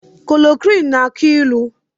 Kololoroqini na-elu ilu